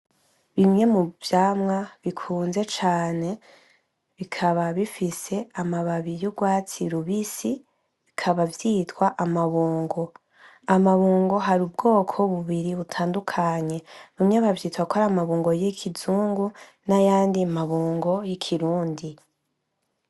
Bimwe muvyamwa bikunzwe cane, bikaba bifise amababi y'urwatsi rubisi, bikaba vyitwa amabungo. Amabungo har'ubwoko bubiri butandukanye, bimwe bavyita kwar'amabungo y'ikizungu nayandi mabungo y'ikirundi.